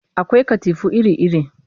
Akwai katifu iri-iri